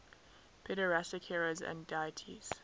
pederastic heroes and deities